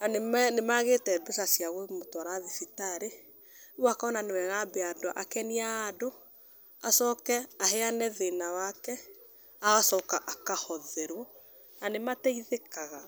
na nĩ magĩte mbeca cia kũmũtwara thibitarĩ, rĩu akona nĩ wega ambe akenie andũ acoke aheane thĩna wake agacoka akahotherwo na nĩmateithĩkaga.